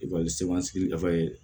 Ekɔlisow sigida ye